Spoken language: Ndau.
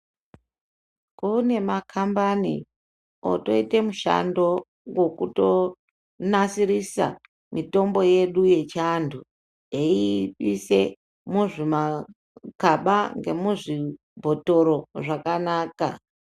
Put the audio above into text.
Kune makambani otoite mushando wekutonasirisa mitombo yedu yechiantu eiise muzvimakaba ngemuzvibhotoro zvakanaka.